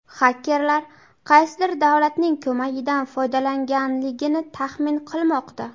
xakerlar qaysidir davlatning ko‘magidan foydalanganligini taxmin qilmoqda.